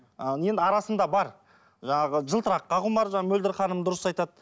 ы енді арасында бар жаңағы жылтыраққа құмар жаңа мөлдір ханым дұрыс айтады